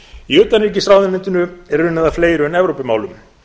í utanríkisráðuneytinu er unnið að fleiru en evrópumálum